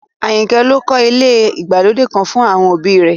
Àyìnkẹ́ ló kọ́ ilé ìgbàlódé kan fún àwọn òbí i rẹ̀